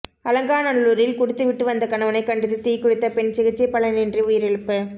அலங்காநல்லூரில் குடித்து விட்டு வந்த கணவனை கண்டித்து தீக்குளித்த பெண் சிகிச்சை பலனின்றி உயிரிழப்பு